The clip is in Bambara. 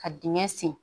Ka dingɛ sen